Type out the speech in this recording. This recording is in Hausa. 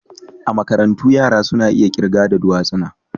A makarantu yara suna iya kirga da dutsuna.